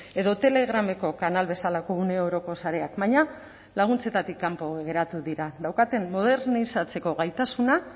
edo telegrameko kanal bezalako une oroko sareak baina laguntzetatik kanpo geratu dira daukaten modernizatzeko gaitasuna